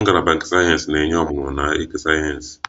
Ngalaba nke sayensị na-enye ọmụmụ na eke sayensị